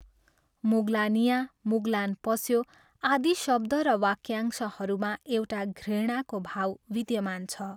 "मुगलानियाँ", "मुगलान पस्यो", आदि शब्द र वाक्यांशहरूमा एउटा घृणाको भाव विद्यमान छ।